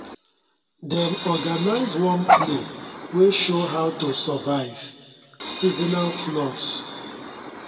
dem organise one play wey show how to survive seasonal floods